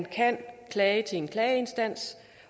kan klage til en klageinstans